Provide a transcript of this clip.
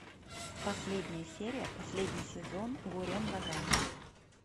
последняя серия последний сезон гуррен лаганн